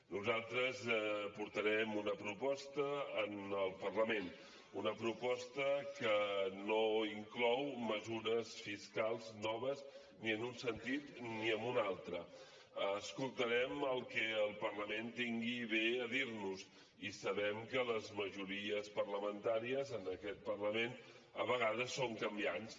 nosaltres portarem una proposta al parlament una proposta que no inclou mesures fiscals noves ni en un sentit ni en un altre escoltarem el que el parlament tingui a bé de dir nos i sabem que les majories parlamentàries en aquest parlament a vegades són canviants